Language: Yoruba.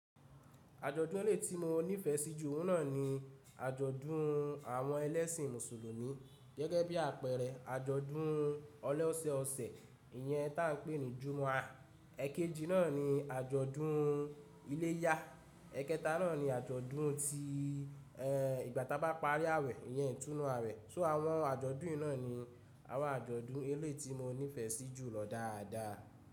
Àjọ̀dún ẹlẹ́ti tí mo nífẹ̀ẹ́ sí jù oun na ni àjọ̀dún àwọn ẹlẹ́sìn mùsùlùmí gẹ́gẹ́ bí àpẹẹrẹ àjọ̀dún ọlẹ́ọ̀sẹ̀ ọ̀sẹ̀, ìyẹn tá ń pè ní Jummah, èkejì náà ni àjọ̀dún iléyà, èkẹta náà ni àjọ̀dún tí ìgbà tá bá parí àwẹ̀, ìyẹn ìtúnu àwẹ̀. So àwọn àjọ̀dún ina ni àwọn àjọ̀dún ẹlẹ́ti mo nífẹ̀ẹ́ sí jù lọ dáadáa.